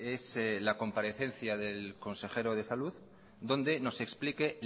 es la comparecencia del consejero de salud donde nos explique